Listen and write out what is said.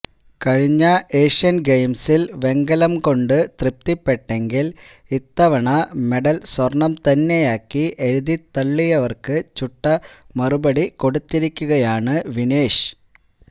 കഴിഞ്ഞ ഏഷ്യൻ ഗെയിംസിൽ വെങ്കലം കൊണ്ടു തൃപ്തിപ്പെട്ടെങ്കിൽ ഇത്തവണ മെഡൽ സ്വർണം തന്നെയാക്കി എഴുതിത്തള്ളിയവർക്കു ചുട്ടമറുപടി കൊടുത്തിരിക്കുകയാണു വിനേഷ്